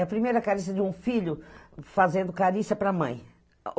É a primeira carícia de um filho fazendo carícia para a mãe.